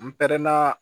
N pɛrɛnna